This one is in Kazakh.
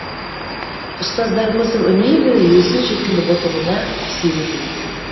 ұстаздарымыздың үнемі өзін жетіліп отыруына әсер етеді